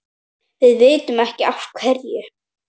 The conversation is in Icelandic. Við vitum ekki af hverju.